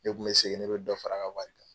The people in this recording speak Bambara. Ne kun bɛ segin ne bɛ dɔ fara a ka wari kan.